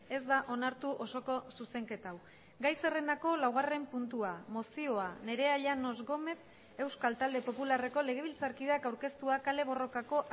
ez da onartu osoko zuzenketa hau gai zerrendako laugarren puntua mozioa nerea llanos gómez euskal talde popularreko legebiltzarkideak aurkeztua kale borrokako